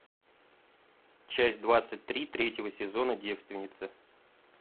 часть двадцать три третьего сезона девственницы